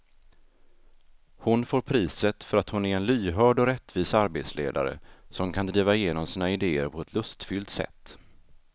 Hon får priset för att hon är en lyhörd och rättvis arbetsledare som kan driva igenom sina idéer på ett lustfyllt sätt.